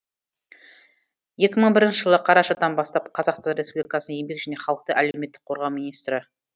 екі мың бірінші жылы қарашадан бастап қазақстан республикасының еңбек және халықты әлеуметтік қорғау министрі